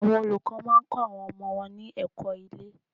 Àwọn olùkọ́ má a ń kó àwọn ọmọ wọn ní èkó ilé